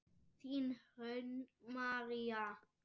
Þín Hrönn María.